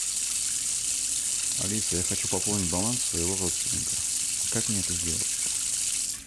алиса я хочу пополнить баланс своего родственника как мне это сделать